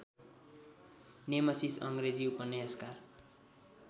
Nemesis अङ्ग्रेजी उपन्यासकार